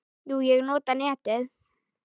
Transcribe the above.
Jú, ég nota netið.